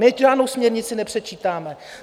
My žádnou směrnici nepředčítáme.